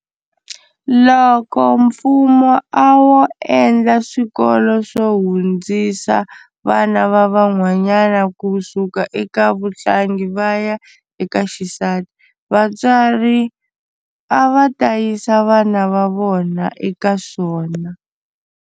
Loko mfumo a wo endla swikolo swo hundzisa vana va vanwanyana kusuka eka vuhlangi va ya eka xisati vatswari a va ta yisa vana va vona eka swona.